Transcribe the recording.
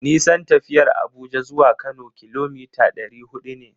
Nisan tafiyar Abuja zuwa Kano kilomita ɗari huɗu ne.